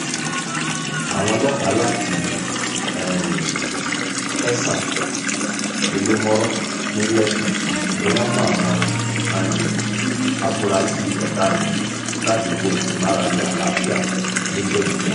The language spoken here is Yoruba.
àwọn ọlọ́pàá láti um tẹ̀sán elémọ́rọ́ ní lẹ́kí ni wọ́n mú àwọn um afurasí ọ̀daràn yìí ládùúgbò ìmárale àlàáfíà ńibẹ̀jú lẹ́kì